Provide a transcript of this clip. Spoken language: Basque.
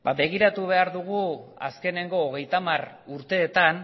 ba begiratu behar dugu azkeneko hogeita hamar urteetan